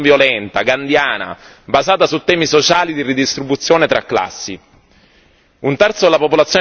Stanno portando avanti una rivoluzione non violenta, gandhiana, basata su temi sociali di ridistribuzione tra classi.